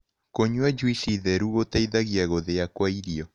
Kũnyua jũĩcĩ therũ gũteĩthagĩa gũthĩa kwa irio